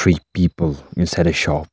three people inside a shop.